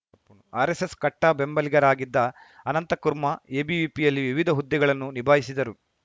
RSS ಕಟ್ಟಾಬೆಂಬಲಿಗರಾಗಿದ್ದ ಅನಂತಕುರ್ಮಾ ಎಬಿವಿಪಿಯಲ್ಲಿ ವಿವಿಧ ಹುದ್ದೆಗಳನ್ನು ನಿಭಾಯಿಸಿದರು